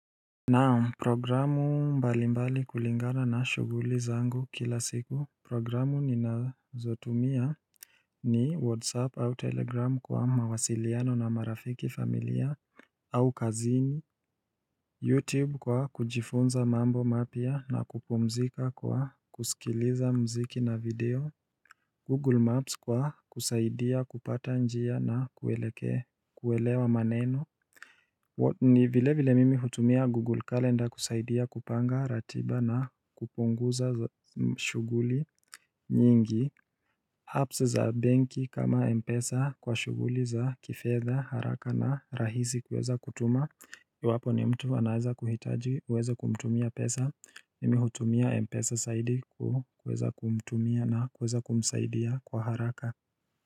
Naam programu mbalimbali kulingana na shuguli zangu kila siku Programu ninazotumia ni WhatsApp au Telegram kwa mawasiliano na marafiki familia au kazini YouTube kwa kujifunza mambo mapia na kupumzika kwa kusikiliza mziki na video Google Maps kwa kusaidia kupata njia na kuelekea kuelewa maneno ni vile vile mimi hutumia Google Calendar kusaidia kupanga ratiba na kupunguza mshuguli nyingi apps za benki kama Mpesa kwa shuguli za kifetha haraka na rahizi kweza kutuma Yuwapo ni mtu anaweza kuhitaji uweza kumtumia pesa mimi hutumia Mpesa saidi ku kweza kumtumia na kweza kumsaidia kwa haraka.